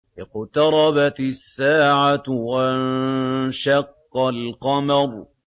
اقْتَرَبَتِ السَّاعَةُ وَانشَقَّ الْقَمَرُ